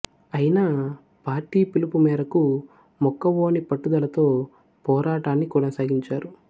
అయినా పార్టీ పిలుపు మేరకు మొక్కవోని పట్టుదలతో పోరాటాన్ని కొనసాగించారు